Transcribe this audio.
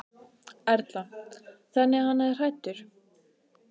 Erla: Þannig að hann er hræddur?